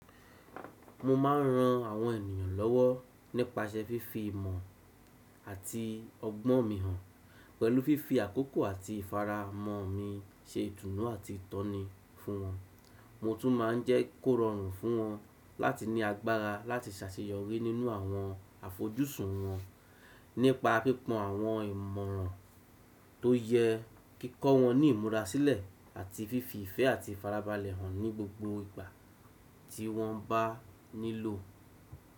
Mo ma ń ran àwọn ènìyàn lọ́wọ́ nípasẹ̀ fífí ìmọ̀ àti ọgbọ́n mi hàn, pẹ̀lú fífí àkókò àti ìfara mọ́ mi ṣe ìtùnú àti ìtọ́ni fún wọn. Mo tún máa ń jẹ́ kórórùn fún wọn láti ní agbára láti ṣàṣeyọrí nínú àwọn àfojúsùn wọn nípa pípòn àwọn ìmọ̀ràn tó yẹ, kí kọ́ wọn ní ìmúrasilẹ̀ àti fífí ìfẹ́ àti ìfarabalẹ̀ hàn ní gbogbo ìgbà tí wọ́n bá nílò.